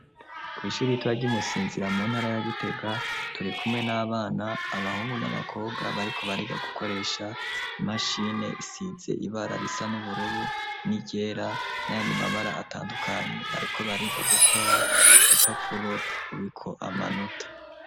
Kw'ishuri ritoya ry'imusinzira mu ntara ya gitega torikume n'abana abahungu n'abakobwa bariko bariga gukoresha imashine isitze ibara risa nubururu nigera n'ayandimabara atandukanye bariko bariga gukora upapuro rubiko amanota.